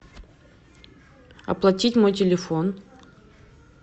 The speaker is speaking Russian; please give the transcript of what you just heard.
оплатить мой телефон